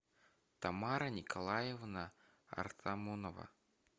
тамара николаевна артамонова